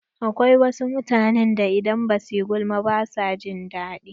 Akwai wasu mutanen da idan ba su yi gulma ba ba su jin daɗi.